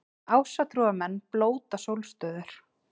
Ásatrúarmenn blóta sólstöður